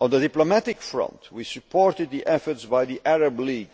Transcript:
On the diplomatic front, we supported the efforts by the Arab League,